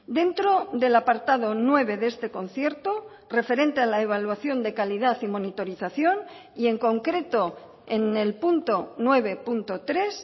dentro del apartado nueve de este concierto referente a la evaluación de calidad y monitorización y en concreto en el punto nueve punto tres